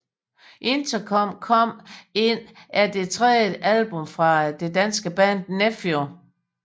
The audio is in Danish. Interkom Kom Ind er det tredje album fra det danske band Nephew